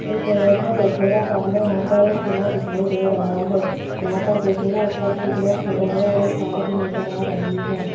इस इमेज में देखिएगा सामने यहां पर एक किला दिखाई दे रहा है यहां पर देखिएगा ऊपर कुछ लोग खड़े हैं और एक कार भी नजर आ रही है।